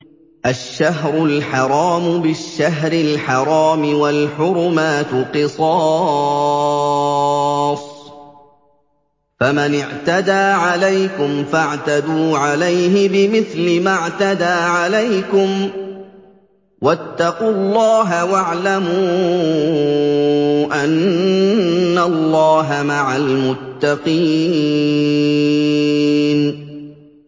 الشَّهْرُ الْحَرَامُ بِالشَّهْرِ الْحَرَامِ وَالْحُرُمَاتُ قِصَاصٌ ۚ فَمَنِ اعْتَدَىٰ عَلَيْكُمْ فَاعْتَدُوا عَلَيْهِ بِمِثْلِ مَا اعْتَدَىٰ عَلَيْكُمْ ۚ وَاتَّقُوا اللَّهَ وَاعْلَمُوا أَنَّ اللَّهَ مَعَ الْمُتَّقِينَ